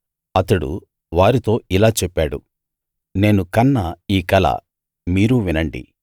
అతడు వారితో ఇలా చెప్పాడు నేను కన్న ఈ కల మీరూ వినండి